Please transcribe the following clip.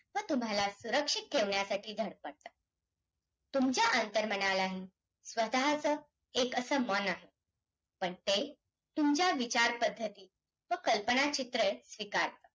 खूप गरजेचं आहे जो की सविधान हा तत्पर असून त्या मध्ये